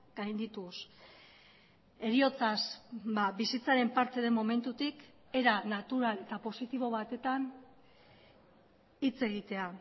gaindituz heriotzaz bizitzaren parte den momentutik era natural eta positibo batetan hitz egitea